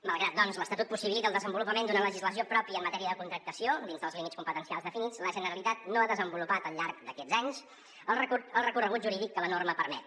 malgrat doncs que l’estatut possibilita el desenvolupament d’una legislació pròpia en matèria de contractació dins dels límits competencials definits la generalitat no ha desenvolupat al llarg d’aquests anys el recorregut jurídic que la norma permet